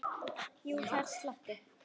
Jú, það er slatti.